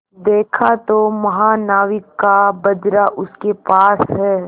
देखा तो महानाविक का बजरा उसके पास है